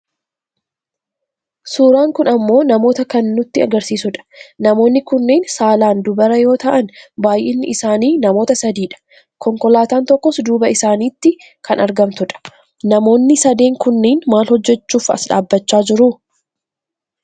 Suuraan kun ammoo Namoota kan nutti agarsiisudha. Namoonni kunneen saalaan dubara yoo ta'an baayyinni isaanii namoota sadidha. Konkolaataan tokkos duuba isaanitti kan argamtudha. Namoonni sadeen kunniin maal hojjachuuf as dhaabbachaa jiru?